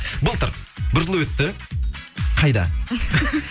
былтыр бір жыл өтті қайда